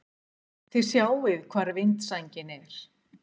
Þið sjáið hvar vindsængin er!